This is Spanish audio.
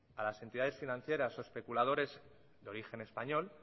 a las entidades financieras o especuladores de origen español